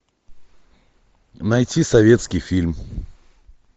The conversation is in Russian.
найти советский фильм